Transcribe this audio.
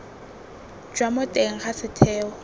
jwa mo teng ga setheo